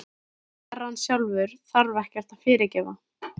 Herrann sjálfur þarf ekkert að fyrirgefa.